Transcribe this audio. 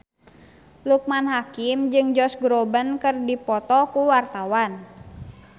Loekman Hakim jeung Josh Groban keur dipoto ku wartawan